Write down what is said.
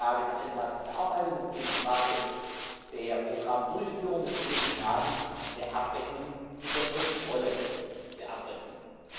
Es geht um Fragen der Antragsbearbeitung, es geht um Fragen der Programmdurchführung, es geht um Fragen der Abrechnung und der Kontrolle der Abrechnungen.